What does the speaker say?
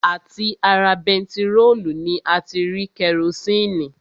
À ti ara bentiróòlù ni a ti rí kerosini